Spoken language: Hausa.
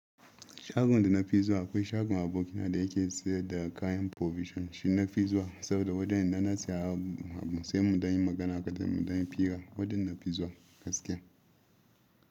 Shagon da na fi zuwa akwai shagon aboki na da yake sayar da kayan provision, shi na fi zuwa saboda wajan idan na saya abu sai mu dan yi magana kaɗan mu dan yi fira, wajan na fi zuwa gaskiya.